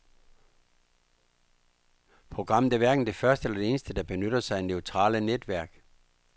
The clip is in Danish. Programmet er hverken det første eller eneste, der benytter sig af neurale netværk.